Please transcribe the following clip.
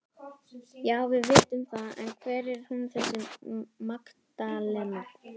Já, við vitum það en hver er hún þessi Magdalena?